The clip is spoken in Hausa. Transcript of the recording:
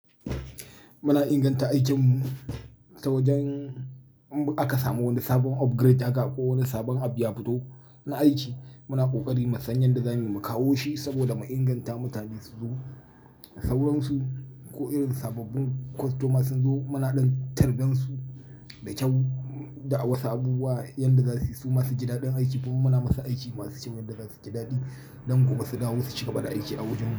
Muna inganta aikinmu ta wajen in aka samu wani sabon upgrade haka ko wani sabon abu ya fito na aiki. Muna ƙoƙari mu sanyan da zamu kawo shi saboda mu inganta mutane su zo da sauransu ko irin sababbin kostomas sun zo muna ɗan tarbansu da kyau, da wasu abubuwa yanda za su yi su ma su ji daɗin aiki domin kuma muna musu aiki masu kyau wanda za su ji daɗi don gobe su dawo su cika gaba da aiki a wajenmu.